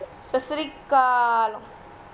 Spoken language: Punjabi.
ਸਤਿ ਸ਼੍ਰੀ ਅਕਾਲ